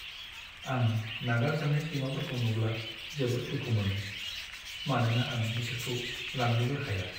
आं नागारजानाय सैमाफोरखौ नुब्ला जोबोद दुखु मोनो, मानोना आं बिसोरखौ लांनोबो हाया।